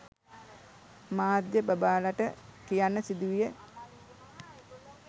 මාධ්‍ය බබාලට කියන්න සිදුවිය